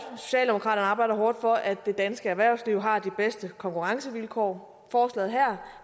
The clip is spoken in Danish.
for socialdemokraterne arbejder hårdt for at det danske erhvervsliv har de bedste konkurrencevilkår forslaget her